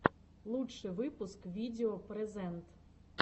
лучший выпуск видео прэзэнт